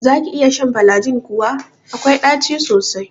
Zaki iya shan falajin kuwa? akwai ɗaci sosai.